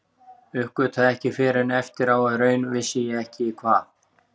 Uppgötvaði ekki fyrr en eftir á að í raun vissi ég ekki hvað